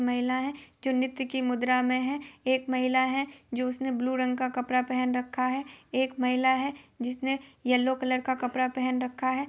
महिला है जो नृत्य की मुद्रा में है| एक महिला है जो उसने ब्लू रंग का कपड़ा पहन रखा है| एक महिला है जिसने येल्लो कलर का कपड़ा पहन रखा है।